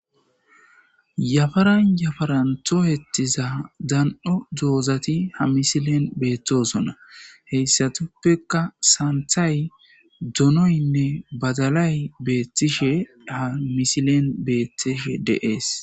yafaran yafaranto hettiza dan7o doozati ha misilen beethtosona heyssatuppeka saanthay donoynne badalay beethtishe ha misilen beethtishe deees